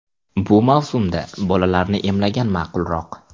Bu mavsumda bolalarni emlagan ma’qulroq.